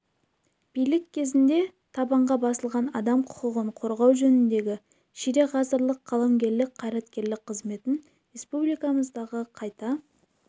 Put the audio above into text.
билік кезінде табанға басылған адам құқығын қорғау жөніндегі ширек ғасырлық қаламгерлік-қайраткерлік қызметін республикамыздағы қайта